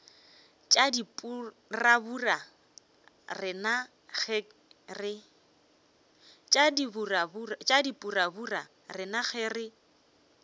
tša dipurabura rena ge re